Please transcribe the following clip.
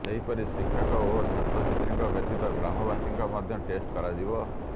ସେହିପରି ଶିକ୍ଷକ ଓ ଛାତ୍ରଛାତ୍ରୀଙ୍କ ବ୍ୟତୀତ ଗ୍ରାମବାସୀଙ୍କ ମଧ୍ୟ ଟେଷ୍ଟ କରାଯିବ